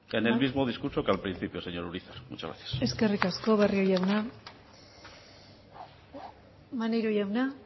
en el mismo discurso que al principio señor urizar muchas gracias eskerrik asko barrio jauna maneiro jauna